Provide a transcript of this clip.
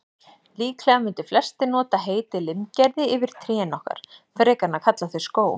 Líklega mundu flestir nota heitið limgerði yfir trén okkar, frekar en að kalla þau skóg.